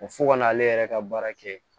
Ko fo ka n'ale yɛrɛ ka baara kɛ